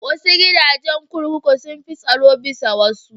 Wasu gidajen kurkuku sun fi tsaro bisa wasu.